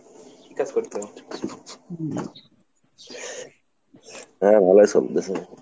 হ্যাঁ ভালোই চলতেছে।